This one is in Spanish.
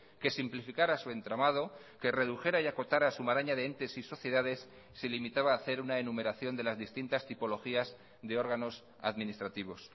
que simplificara su entramado que redujera y acotara su maraña de entes y sociedades se limitaba a hacer una enumeración de las distintas tipologías de órganos administrativos